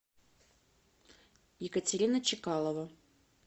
екатерина чекалова